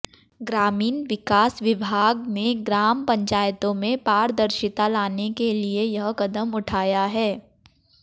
ग्रामीण विकास विभाग ने ग्राम पंचायतों में पारदर्शिता लाने के लिए यह कदम उठाया है